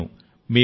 అవును